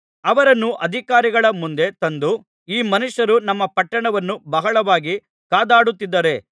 ಅವರನ್ನು ಅಧಿಕಾರಿಗಳ ಮುಂದೆ ತಂದು ಈ ಮನುಷ್ಯರು ನಮ್ಮ ಪಟ್ಟಣವನ್ನು ಬಹಳವಾಗಿ ಕದಡುತ್ತಿದ್ದಾರೆ